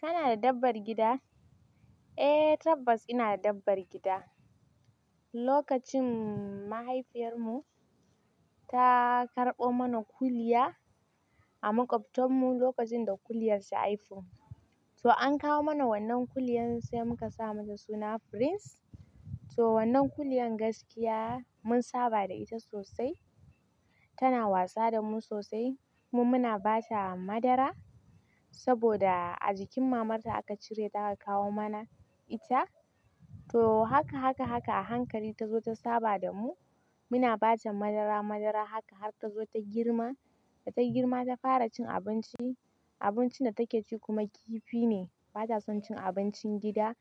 Kana da dabbar gida? Eh tabbas ina da dabbar gida. Lokacin mahaifiyar mu ta karɓo mana kuliya a maƙwabtan mu lokacin da kuliyar shi haifu. So an kawo mana wannan kuliyan sai muka sa mata suna Prince. So wannan kuliyan gaskiya mun saba da ita sosai, tana wasa da mu sosai. Mu muna ba ta madara saboda a jikin mamar ta aka cire ta aka kawo mana ita. To haka, haka, haka a hankali ta zo ta saba da mu. Muna ba ta madara, madara haka har ta zo ta girma, da ta girma ta fara cin abinci. Abincin da take ci kuma kifi ne. Bata son cin abincin gida